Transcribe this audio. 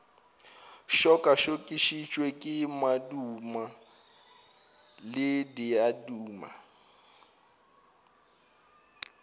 tšokatšokišwe ke madimo le diaduma